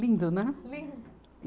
Lindo, né? Lindo